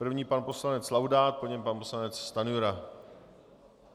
První pan poslanec Laudát, po něm pan poslanec Stanjura.